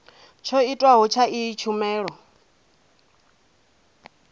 tsho tiwaho tsha iyi tshumelo